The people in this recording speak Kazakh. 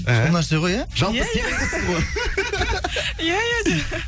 сол нәрсе ғой иә иә иә жалпы сенімдісіз ғой иә иә де